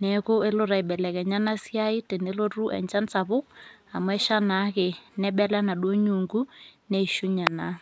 neeku elo aibelekenya ena siai tenelotu enchan sapuk amu esha naake nebela enaduo nyuunku , neishunye naa.